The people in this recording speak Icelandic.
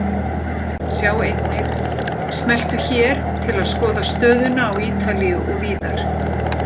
Sjá einnig: Smelltu hér til að skoða stöðuna á Ítalíu og víðar.